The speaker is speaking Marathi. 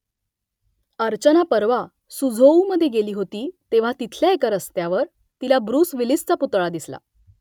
अर्चना परवा सुझोऊमधे गेली होती तेव्हा तिथल्या एका रस्त्यावर तिला ब्रुस विलिसचा पुतळा दिसला